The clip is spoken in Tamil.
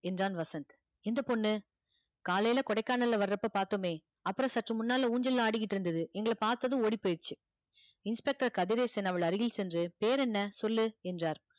என்றான் வசந்த் இந்தப் பொண்ணு காலையில கொடைக்கானல்ல வர்றப்ப பார்த்தோமே அப்புறம் சற்று முன்னால ஊஞ்சல் ஆடிக்கிட்டு இருந்தது எங்களைப் பார்த்ததும் ஓடிப் போயிருச்சு inspector கதிரேசன் அவள் அருகில் சென்று பெயர் என்ன சொல்லு என்றார்